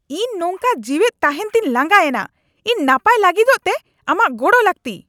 ᱤᱧ ᱱᱚᱝᱠᱟ ᱡᱤᱣᱮᱫ ᱛᱟᱦᱮᱸᱱ ᱛᱮᱧ ᱞᱟᱸᱜᱟᱭᱮᱱᱟ ! ᱤᱧ ᱱᱟᱯᱟᱭ ᱞᱟᱹᱜᱤᱫᱚᱜ ᱛᱮ ᱟᱢᱟᱜ ᱜᱚᱲᱚ ᱞᱟᱹᱠᱛᱤᱼᱟ !